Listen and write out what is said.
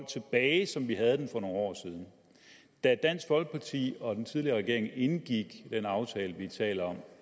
tilbage som vi havde den for nogle år siden da dansk folkeparti og den tidligere regering indgik den aftale vi taler om